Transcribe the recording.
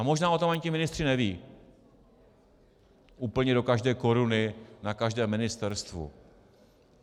A možná o tom ani ti ministři nevědí úplně do každé koruny na každém ministerstvu.